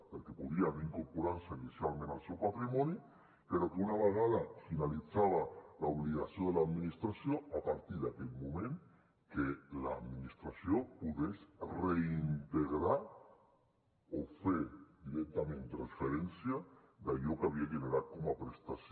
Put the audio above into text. perquè podrien no incorporar se inicialment al seu patrimoni però que una vegada finalitzada l’obligació de l’administració a partir d’aquell moment que l’administració pogués reintegrar o fer directament transferència d’allò que havia generat com a prestació